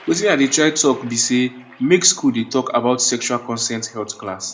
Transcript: watin i dey try talk be say make school dey talk about about sexual consent health class